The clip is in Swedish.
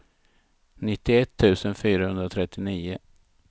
nittioett tusen fyrahundratrettionio